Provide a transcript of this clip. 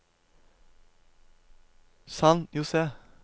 San José